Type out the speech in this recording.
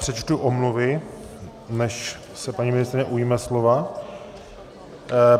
Přečtu omluvy, než se paní ministryně ujme slova.